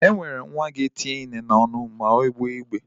E nwere nwa ga-etinye ihe niile n'onụ ma ọ gbewe igbe.